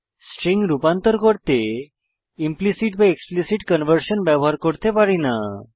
string রূপান্তর করতে implicit বা এক্সপ্লিসিট কনভার্সন ব্যবহার করতে পারি না